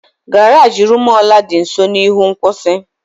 Garaji Rumuola dị nso n'ihu nkwụsị.